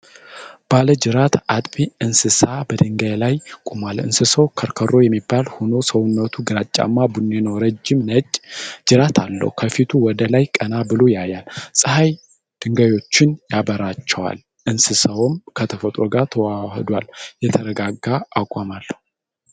ባለ ጅራት አጥቢ እንስሳ በድንጋይ ላይ ቆሟል። እንስሳው ከርከሮ የሚባል ሆኖ፣ ሰውነቱ ግራጫማ ቡኒ ነው። ረዥም ነጭ ጅራት አለው። ከፊቱ ወደ ላይ ቀና ብሎ ያያል። ፀሐይ ድንጋዮቹን ያበራቸዋል። እንስሳው ከተፈጥሮ ጋር ተዋህዷል። የተረጋጋ አቋም አለው።